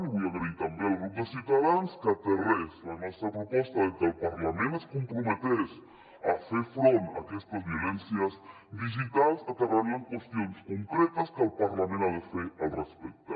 i vull agrair també al grup de ciutadans que aterrés la nostra proposta de que el parlament es comprometés a fer front a aquestes violències digitals aterrant la en qüestions concretes que el parlament ha de fer al respecte